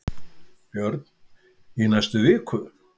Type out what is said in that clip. Björn: Í næstu viku?